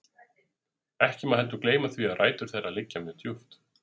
Ekki má heldur gleyma því að rætur þeirra liggja mjög djúpt.